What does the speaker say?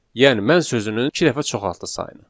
Yəni mən sözünü iki dəfə çoxaltdı sayını.